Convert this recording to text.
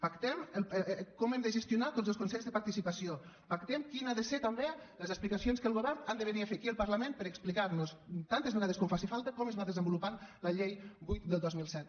pactem com hem de gestionar tots els consells de participació pactem quines han de ser també les explicacions que el govern han de venir a fer aquí al parlament per explicar nos tantes vegades com faci falta com es va desenvolupant la llei vuit del dos mil set